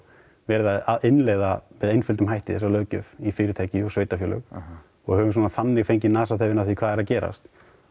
verið að innleiða með einföldum hætti þessa löggjöf í fyrirtæki og sveitafélög og höfum svona þannig fengið nasaþefinn af því hvað er að gerast